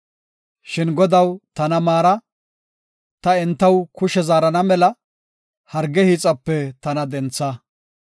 Shin Godaw tana maara; ta entaw kushe zaarana mela, harge hiixape tana dentha.